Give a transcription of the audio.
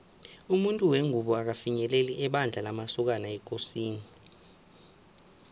umuntu wengubo akafinyeleli ebandla lamasokana ekosini